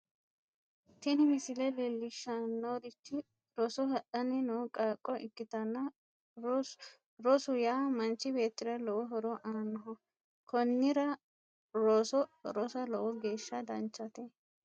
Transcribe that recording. tini misile leellishshannorichi roso hadhanni no qaaqqo ikkitanna rosu yaa manchi beettira lowo horo aannoho konnira roso rosa lowo geeshsha danchate.